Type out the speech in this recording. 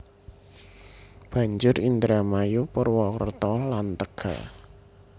Banjur Indramayu Purwokerto lan Tegal